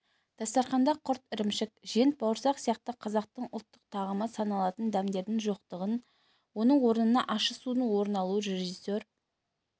дастарханда құрт ірімшік жент бауырсақ сияқты қазақтың ұлттық тағамы саналатын дәмдердің жоқтығын оның орнына ащы судың орын алуын режиссер